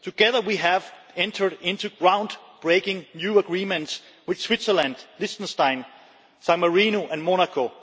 Together, we have entered into groundbreaking new agreements with Switzerland, Liechtenstein, San Marino and Monaco.